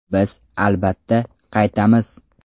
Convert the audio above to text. Biz, albatta, qaytamiz.